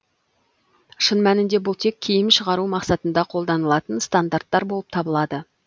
шын мәнінде бұл тек киім шығару мақсатында қолданылатын стандарттар болып табылады